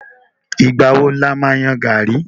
Ìgbà wo lo ma yan gàrí?